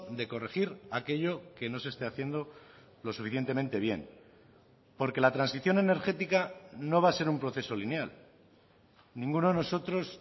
de corregir aquello que no se esté haciendo lo suficientemente bien porque la transición energética no va a ser un proceso lineal ninguno de nosotros